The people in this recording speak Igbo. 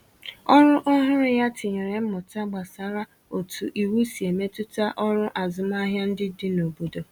Ọrụ ọhụrụ ya tinyèrè mmụta gbasàra otu iwu si emetụta ọrụ azụmahịa ndị dị n’obodo